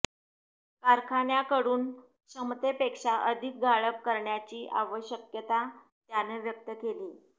कारखान्याकडून क्षमतेपेक्षा अधिक गाळप करण्याची आवश्यकता त्यांन व्यक्त केली